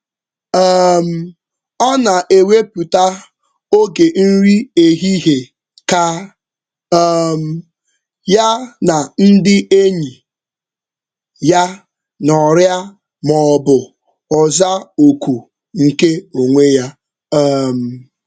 um Ọ na-ewepụta oge nri ehihie ka um ya na ndị enyi ya nọrịa maọbụ ọ zaa oku nke onwe ya. um